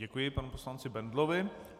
Děkuji panu poslanci Bendlovi.